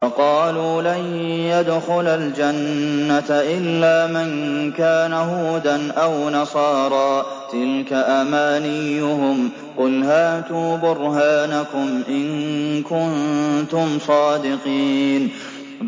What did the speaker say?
وَقَالُوا لَن يَدْخُلَ الْجَنَّةَ إِلَّا مَن كَانَ هُودًا أَوْ نَصَارَىٰ ۗ تِلْكَ أَمَانِيُّهُمْ ۗ قُلْ هَاتُوا بُرْهَانَكُمْ إِن كُنتُمْ صَادِقِينَ